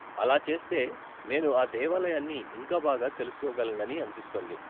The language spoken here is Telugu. అలా చేస్తే నేను ఆ దేవాలయాన్ని ఇంకా బాగా తెలుసుకోగలనని అనిపిస్తోంది.